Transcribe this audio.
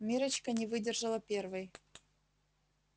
миррочка не выдержала первой